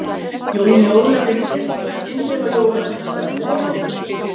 Jóni Ólafi leist nú ekki eins vel á jólasveinastarfið og áður.